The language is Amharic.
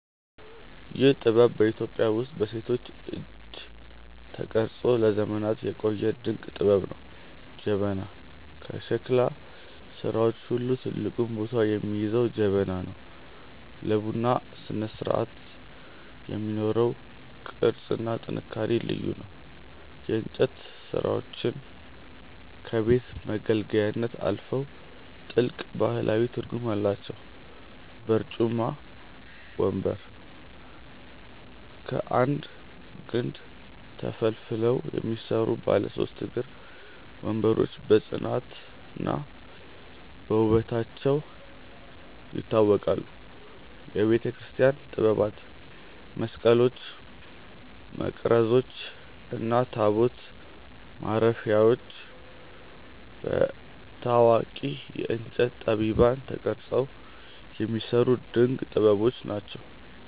ይህ ጥበብ በኢትዮጵያ ውስጥ በሴቶች እጅ ተቀርጾ ለዘመናት የቆየ ድንቅ ጥበብ ነው። ጀበና፦ ከሸክላ ሥራዎች ሁሉ ትልቁን ቦታ የሚይዘው ጀበና ነው። ለቡና ስነስርዓት የሚኖረው ቅርጽና ጥንካሬ ልዩ ነው። የእንጨት ሥራዎቻችን ከቤት መገልገያነት አልፈው ጥልቅ ባህላዊ ትርጉም አላቸው። በርጩማ (ወንበር)፦ ከአንድ ግንድ ተፈልፍለው የሚሰሩ ባለ ሦስት እግር ወንበሮች በጽናትና በውበታቸው ይታወቃሉ። የቤተክርስቲያን ጥበባት፦ መስቀሎች፣ መቅረዞች እና ታቦት ማረፊያዎች በታዋቂ የእንጨት ጠቢባን ተቀርጸው የሚሰሩ ድንቅ ጥበቦች ናቸው።